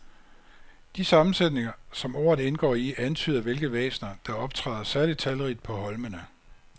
De sammensætninger, som ordet indgår i, antyder hvilke væsener, der optræder særlig talrigt på holmene.